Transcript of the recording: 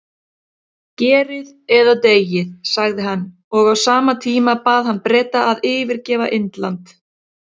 Gerið eða deyið, sagði hann, og á sama tíma bað hann Breta að yfirgefa Indland.